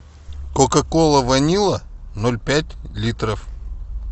кока кола ванила ноль пять литров